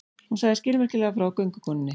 Hún sagði skilmerkilega frá göngukonunni.